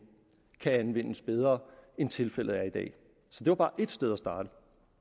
kan anvendes bedre end tilfældet er i dag så det var bare et sted at starte